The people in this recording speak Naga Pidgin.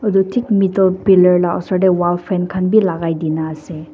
edu thik middle pillar la osor tae wall frame khan bi lakai kaena ase.